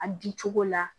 A bin cogo la